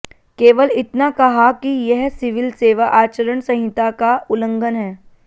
केवल इतना कहा कि यह सिविल सेवा आचरण संहिता का उल्लंघन है